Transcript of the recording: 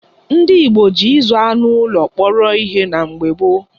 Ndị Igbo ji ịzụ anụ ụlọ kpọrọ ihe na mgbe gboo.